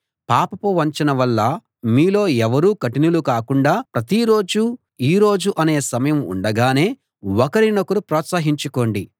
పాపపు వంచన వల్ల మీలో ఎవరూ కఠినులు కాకుండా ప్రతిరోజూ ఈ రోజు అనే సమయం ఉండగానే ఒకరినొకరు ప్రోత్సహించుకోండి